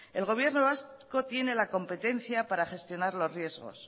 el gobierno vasco tiene la competencia para gestionar los riesgos